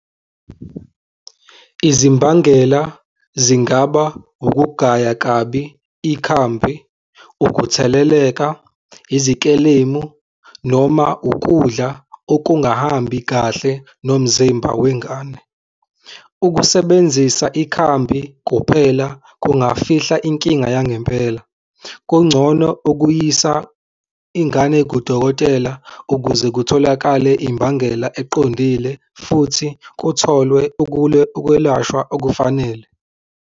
Izimbangela zingaba ukugaya kabi ikhambi, ukutheleleka, izikelemu noma ukudla okungahambi kahle nomzimba wengane. Ukusebenzisa ikhambi kuphela kungafihla inkinga yangempela. Kungcono ukuyisa ingane kudokotela ukuze kutholakale imbangela eqondile futhi kutholwe ukwelashwa okufanele.